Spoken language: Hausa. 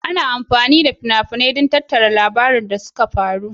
Ana amfani da fina-finai don tattara labaran abubuwan da suka faru.